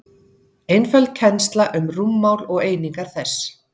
einföld kennsla um rúmmál og einingar þess